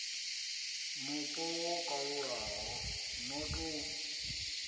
mupo ho kalulaho no ḓo